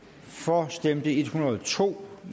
for stemte en hundrede og to